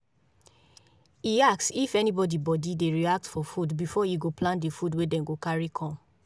e ask if anybody body dey react for food before e go plan the food wey them go carry come